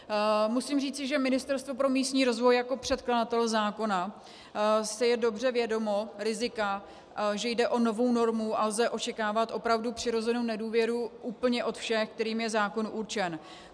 Musím říci, že Ministerstvo pro místní rozvoj jako předkladatel zákona si je dobře vědomo rizika, že jde o novou normu a lze očekávat opravdu přirozenou nedůvěru úplně od všech, kterým je zákon určen.